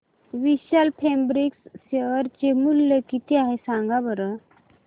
विशाल Fabrics share चे मूल्य किती आहे सांगा बरं